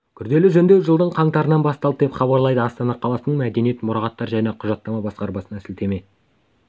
күрделі жөндеу жылдың қаңтарынан басталды деп хабарлайды астана қаласының мәдениет мұрағаттар және құжаттама басқармасына сілтеме